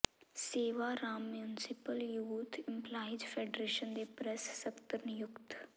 ਸੇਵਾ Ram municipal youth employees federation ਦੇ press ਸਕੱਤਰ ਨਿਯੁੱਕਤ